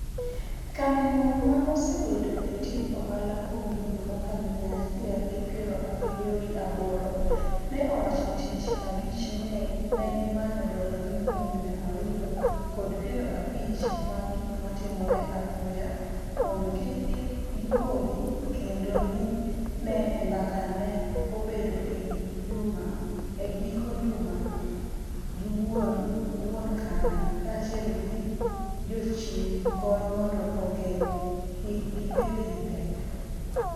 kambi no ma osebedo e tij ohala kuom higni makalo miya achiel gi piero abiriyo gi aboro, ne owacho tich abich ni negi manyo dola milion miya ariyo kod piero abich mag gik matimore apoya, mondo kik gipodhi, kendo ni ne e mbaka mane obedo e giko juma gi wuone kambi kachiel gi jochiw kony mondo ogeng' kik gibed gi pek.